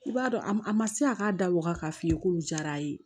I b'a dɔn a ma a ma se a k'a da waga k'a f'i ye k'olu diyara a ye